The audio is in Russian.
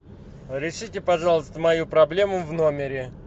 решите пожалуйста мою проблему в номере